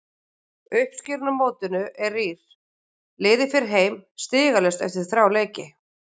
Uppskeran á mótinu er rýr, liðið fer heim stigalaust eftir þrjá leiki.